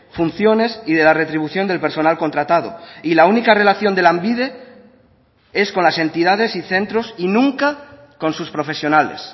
funciones y de la retribución del personal contratado y la única relación de lanbide es con las entidades y centros y nunca con sus profesionales